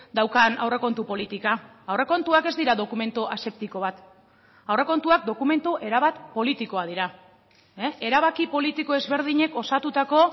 daukan aurrekontu politika aurrekontuak ez dira dokumentu aseptiko bat aurrekontuak dokumentu erabat politikoak dira erabaki politiko ezberdinek osatutako